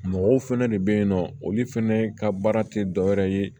Mɔgɔw fɛnɛ de be yen nɔ olu fɛnɛ ka baara te dɔwɛrɛ ye